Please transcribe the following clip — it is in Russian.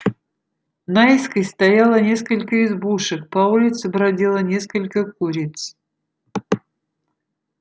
наискось стояло несколько избушек по улице бродило несколько куриц